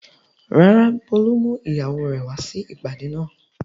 Rárá, Bólú mú ìyàwó rẹ̀ wá sí ìpàdé náà.